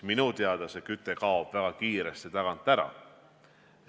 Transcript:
Ja see küte kaob väga kiiresti ära.